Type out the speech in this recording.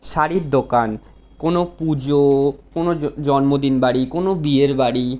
শাড়ির দোকান। কোনো পুজো - ও কোনো জন্মদিনবাড়ি কোনো বিয়েরবাড়ি --